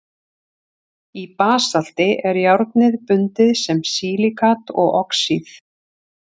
í basalti er járnið bundið sem silíkat og oxíð